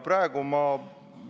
Praegu ma